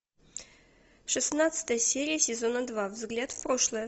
шестнадцатая серия сезона два взгляд в прошлое